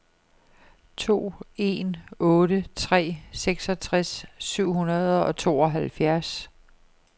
to en otte tre seksogtres syv hundrede og tooghalvfjerds